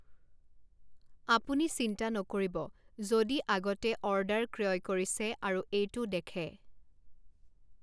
আপুনি চিন্তা নকৰিব যদি আগতেঅৰ্ডাৰ ক্ৰয় কৰিছে আৰু এইটো দেখে।